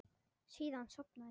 Síðan sofnaði ég.